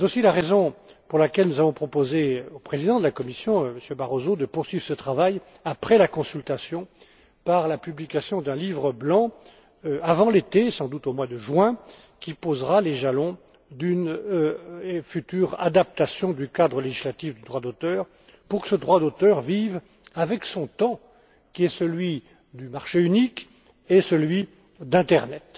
C'est aussi la raison pour laquelle nous avons proposé à M. Barroso, président de la Commission, de poursuivre ce travail, après la consultation, par la publication d'un livre blanc avant l'été, sans doute au mois de juin, qui posera les jalons d'une future adaptation du cadre législatif du droit d'auteur, pour que ce droit d'auteur vive avec son temps, qui est celui du marché unique et celui de l'internet.